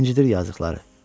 İncidir yazıqları.